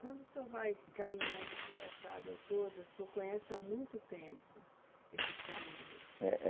Quando o senhor vai caminhando por essa água toda, o senhor conhece há muito tempo esses caminhos. É, eh